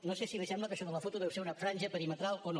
no sé si li sembla que això de la foto deu ser una franja perimetral o no